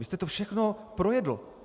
Vy jste to všechno projedl.